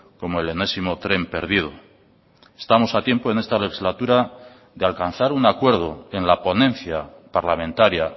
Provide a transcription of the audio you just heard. como el enésimo tren perdido estamos a tiempo en esta legislatura de alcanzar un acuerdo en la ponencia parlamentaria